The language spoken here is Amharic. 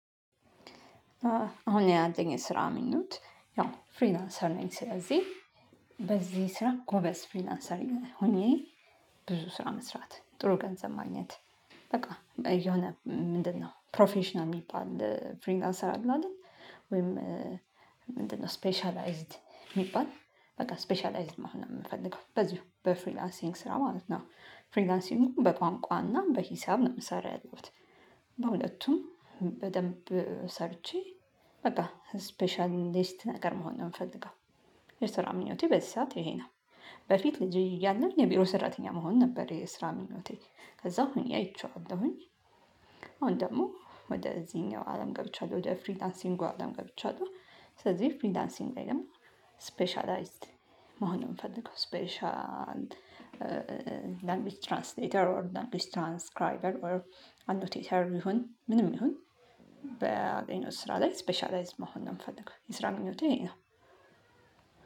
አሁን ያለኝ ስራ ምኞት ያው ፍሪላንሰር ነኝ ስለዚህ በዚህ ስራ ጎበዝ ፍሪላንሰር ሆኜ ብዙ ስራ መስራት ጥሩ ገንዘብ ማግኘት በቃ የሆነ ምንድነው ፕሮፌሽናል የሚባል ፍሪላንሰር አለ አይደል? ወይም ምንድነው ስፔሻላይዝድ የሚባል በቃ ስፔሻላይዝድ መሆን ነው የምፈልገው በዚህ በፍሪላንሲንግ ስራ ማለት ነው ፍሪላንሲንጉ በቋንቋና በሂሳብ ነው የምሰራው ያለሁት። በሁለቱም በደንብ ሰርቼ በቃ ስፔሻልሊስት ነገር መሆን ነው የምፈልገው የስራ ምኞቴ በዚህ ሰዓት ይሄ ነው። በፊት ልጅ እያለን የቢሮ ሰራተኛ መሆን ነበር የስራ ምኞቴ ከዛ ሆኜ አይቼዋለሁኝ አሁን ደግሞ ወደዚህኛው አለም ገብቻለሁ ወደ ፍሪላንሲንጉ አለም ገብቻለሁ ስለዚህ ፍሪላንሲንግ ላይ ደግሞ ስፔሻላይዝድ መሆን የምፈልገው ስፔሻል ላንጉጅ ትራንስሌተር ኦር ላንጉጅ ትራንስክራይበር ኦር አኖቴተር ይሁን ምንም ይሁን በአገኘሁት ስራ ላይ ስፔሻላይዝድ መሆን ነው ምፈልገው የስራ ግንኙነት ይሄ ነው።